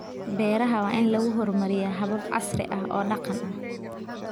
Beeraha waa in lagu horumariyaa habab casri ah oo dhaqan ah.